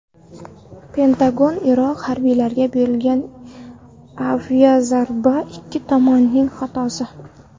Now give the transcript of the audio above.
Pentagon: Iroq harbiylariga berilgan aviazarba ikki tomonning xatosi.